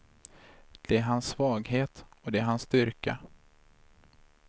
Det är hans svaghet och det är hans styrka.